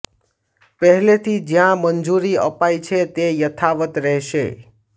પહેલેથી જ્યાં મંજૂરી અપાઇ છે તે યથાવત રહેશે